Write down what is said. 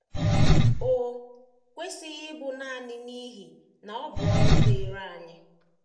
O kwesịghị ịbụ nanị n’ihi na ọ bụ ọrụ dịịrị anyị.